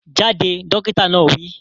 Jáde! Dókítà náà wi